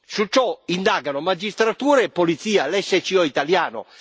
Su ciò indagano magistratura e polizia, l'SCO italiano.